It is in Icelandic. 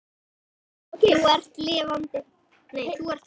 Elsku barn, þú ert þá lifandi.